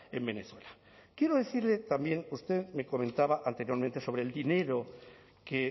en venezuela quiero decirle también usted me comentaba anteriormente sobre el dinero que